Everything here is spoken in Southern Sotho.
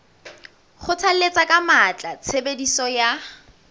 kgothalletsa ka matla tshebediso ya